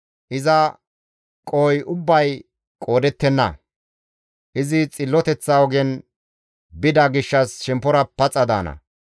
Iza qohoy ubbay qoodettenna. Izi xilloteththa ogen bida gishshas shemppora paxa daana.